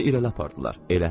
Onu irəli apardılar.